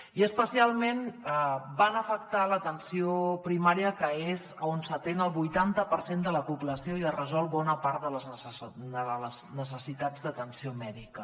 i especialment van afectar l’atenció primària que és on s’atén el vuitanta per cent de la població i es resol bona part de les necessitats d’atenció mèdica